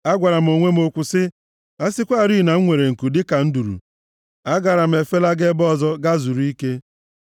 Agwara m onwe m okwu sị, “A sịkwarị na m nwere nku dịka nduru! Agaara m efelaga ebe ọzọ gaa zuru ike.